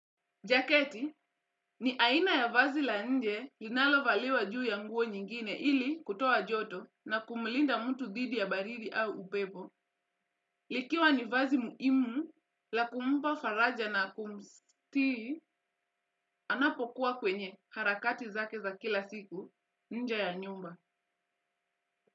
Jaketi ni aina ya vazi la nje linalovaliwa juu ya nguo nyingine ili kutoa joto na kumlinda mtu dhidi ya baridi au upepo. Likiwa ni vazi muimu la kumpa faraja na kumstiti anapokuwa kwenye harakati zake za kila siku nje ya nyumba.